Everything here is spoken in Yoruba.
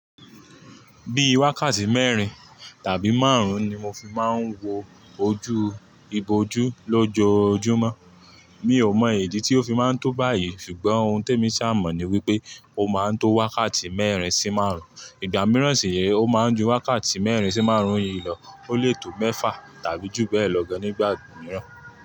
Bí i wákàtí mẹ́rin tàbí márùn-ún ni mo fi máa ń wo ojú ibojú lójoojúmọ́. Mi ò mọ ìdí tí ó fi máa ń tó báyìí ṣùgbọ́n ohun tó èmi ṣà mọ̀ ni wípé ó máa ń tó wákàtí mẹ́rin sí márùn-ún. Ìgbà mìíràn sì re ó máa ń ju wákàtí mẹ́rin sí márùn-ún yìí lọ. Ó lè tó mẹ́fà tàbí jù bẹ́ẹ̀ lọ gan nígbà mìíràn.